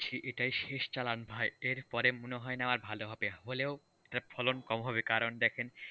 এটাই শেষ চালান ভাই, এরপরে মনে হয় না আর ভালো হবে, হলেও ফলন কম হবে, কারণ দেখেন,